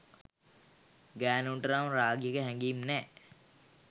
ගෑණුන්ට නම් රාගික හැගීම් නෑ.